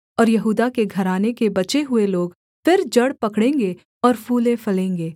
और यहूदा के घराने के बचे हुए लोग फिर जड़ पकड़ेंगे और फूलेंफलेंगे